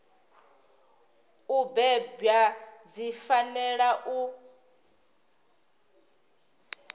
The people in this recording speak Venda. u bebwa dzi fanela u